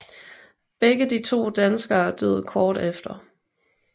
Begge de to danskere døde kort efter